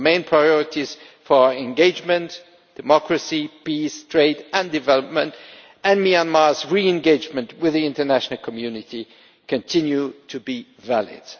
The main priorities for engagement, democracy, peace, trade and development and Myanmar's re engagement with the international community continue to be valid.